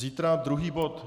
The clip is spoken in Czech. Zítra druhý bod.